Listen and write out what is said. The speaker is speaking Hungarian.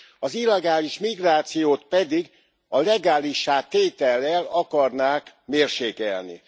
Az illegális migrációt pedig a legálissá tétellel akarnák mérsékelni.